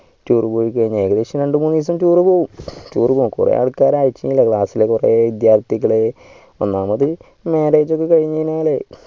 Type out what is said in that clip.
tour പോയിക്കഴിഞ്ഞാൽ ഏകദേശം രണ്ടു മൂന്ന് ദിവസം tour പോകും കൊറേ ആൾകാർ അയച്ചിനല്ലോ class ലെ കൊറേ വിദ്യാർഥികൾ ഒന്നാമത് maariage കഴിന് കഴിഞ്ഞാൽ